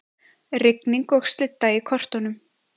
Rigning og slydda í kortunum